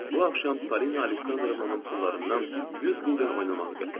Bu axşam Polina Aleksandrovnanın pullarından 100 gulden oynamağı qətlələdim.